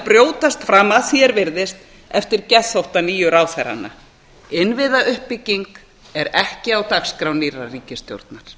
brjótast fram að því er virðist eftir geðþótta nýju ráðherranna innviðauppbygging er ekki á dagskrá nýrrar ríkisstjórnar